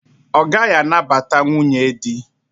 Ọ gaghị anabata nwunye di.